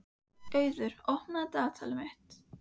Hún var sármóðguð þegar þau renndu heim að Bakka.